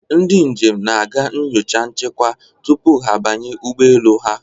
Ndị njem na-aga nyocha nchekwa tupu ha abanye ụgbọ elu ha.